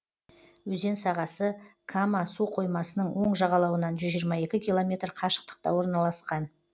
өзен сағасы кама суқоймасының оң жағалауынан жүз жиырма екі километр қашықтықта орналасқан